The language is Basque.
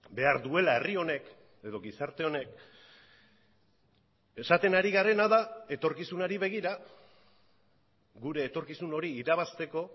behar duela herri honek edo gizarte honek esaten ari garena da etorkizunari begira gure etorkizun hori irabazteko